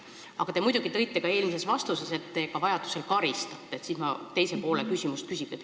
Samas, te ütlesite eelmises vastuses, et kui vaja, siis te ka karistate.